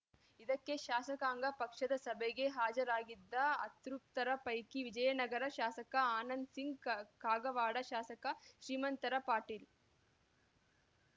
ಇದಕ್ಕೆ ಶಾಸಕಾಂಗ ಪಕ್ಷದ ಸಭೆಗೆ ಹಾಜರಾಗಿದ್ದ ಅತೃಪ್ತರ ಪೈಕಿ ವಿಜಯನಗರ ಶಾಸಕ ಆನಂದ್‌ ಸಿಂಗ್‌ ಕ ಕಾಗವಾಡ ಶಾಸಕ ಶ್ರೀಮಂತ ಪಾಟೀಲ್‌